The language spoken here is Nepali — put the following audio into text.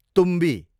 तुम्बी